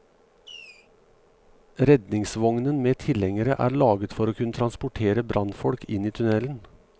Redningsvognen med tilhengere er laget for å kunne transportere brannfolk inn i tunnelen.